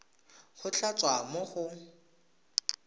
go tla tswa mo go